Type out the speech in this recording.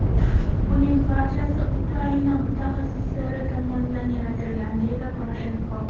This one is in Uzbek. Buning barchasi Ukraina mutaxassislari tomonidan yaratilgan”, deydi Poroshenko.